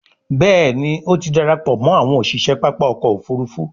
Béèni o tí darapọ̀ mọ àwọn òṣiṣẹ pápá ọkọ̀-òfurufú.